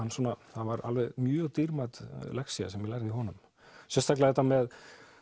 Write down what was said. það var mjög dýrmæt lexía sem ég lærði hjá honum sérstaklega þetta með